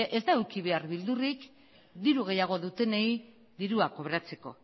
ez da eduki behar beldurrik diru gehiago dutenei dirua kobratzeko